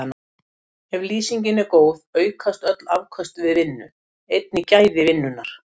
Ef lýsingin er góð aukast öll afköst við vinnu, einnig gæði vinnunnar.